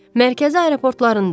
Mərkəzi aeroportlarında.